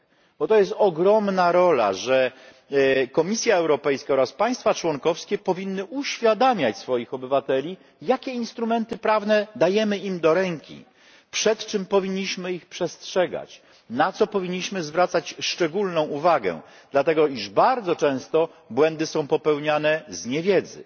Bo to jest ogromna rola, że Komisja Europejska oraz państwa członkowskie powinny uświadamiać swoich obywateli, jakie instrumenty prawne dajemy im do ręki, przed czym powinniśmy ich przestrzegać, na co powinniśmy zwracać szczególną uwagę, dlatego iż bardzo często błędy są popełniane z niewiedzy,